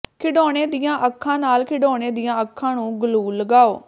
ਖਿਡੌਣੇ ਦੀਆਂ ਅੱਖਾਂ ਨਾਲ ਖਿਡੌਣੇ ਦੀਆਂ ਅੱਖਾਂ ਨੂੰ ਗਲੂ ਲਗਾਓ